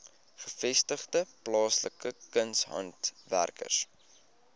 gevestigde plaaslike kunshandwerkers